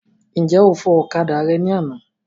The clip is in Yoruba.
Ǹjẹ́ o fọ okada rẹ ní àná.